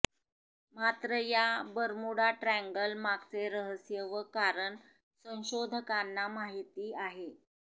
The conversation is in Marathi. मात्र या बर्मुडा ट्रँगल मागचे रहस्य व कारण संशोधकांना माहिती आहे